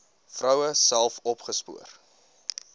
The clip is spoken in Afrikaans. vroue self opgespoor